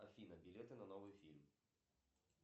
афина билеты на новый фильм